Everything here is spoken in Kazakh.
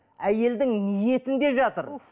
әйелдің ниетінде жатыр